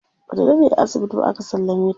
Bata daɗe a asibiti ba aka sallame ta.